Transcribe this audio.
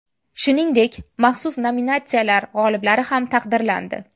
Shuningdek, maxsus nominatsiyalar g‘oliblari ham taqdirlandi.